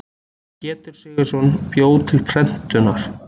Pétur Sigurðsson bjó til prentunar.